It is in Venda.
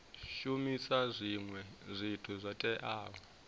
shumisa zwinwe zwithu zwo teaho